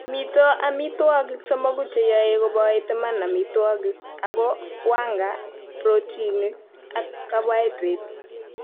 mito amitwogik somoku che yoe koboit iman amitwogik aku; wanga, protinik ak kaboaidret